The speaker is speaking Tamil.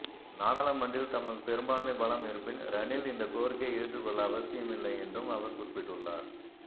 நாடாளுமன்றில் தமக்கு பெரும்பான்மை பலம் இருப்பின் ரணில் இந்தக்கோரிக்கையை ஏற்றுக்கொள்ள அவசியம் இல்லை என்றும் அவர் குறிப்பிட்டுள்ளார்